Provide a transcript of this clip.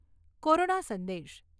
corona સંદેશ...